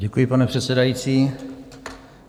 Děkuji, pane předsedající.